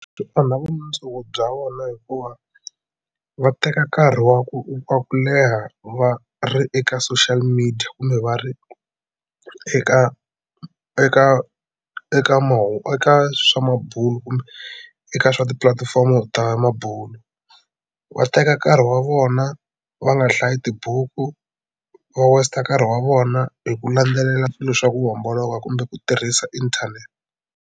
Swi onha vumundzuku bya vona hikuva va teka nkarhi wa ku wa ku leha va ri eka social media kumbe va ri eka eka eka eka swa bulo kumbe eka swa tipulatifomo ta mabulo. Va teka nkarhi wa vona va nga hlayi tibuku va waste nkarhi wa vona hi ku landzelela swilo swa ku homboloka kumbe ku tirhisa inthanete.